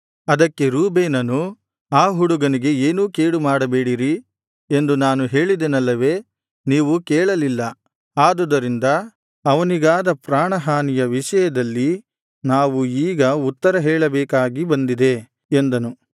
ಅದಕ್ಕೆ ರೂಬೇನನು ಆ ಹುಡುಗನಿಗೆ ಏನೂ ಕೇಡು ಮಾಡಬೇಡಿರಿ ಎಂದು ನಾನು ಹೇಳಿದೆನಲ್ಲವೆ ನೀವು ಕೇಳಲಿಲ್ಲ ಆದುದರಿಂದ ಅವನಿಗಾದ ಪ್ರಾಣ ಹಾನಿಯ ವಿಷಯದಲ್ಲಿ ನಾವು ಈಗ ಉತ್ತರ ಹೇಳಬೇಕಾಗಿ ಬಂದಿದೆ ಎಂದನು